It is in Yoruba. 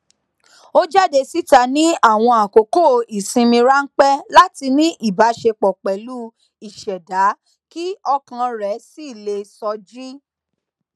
ó jáde síta ní àwọn àkókò isinmi ránpẹ láti ní ìbáṣepọ pẹlú ìṣẹdá kí ọkàn rẹ sì le sọjí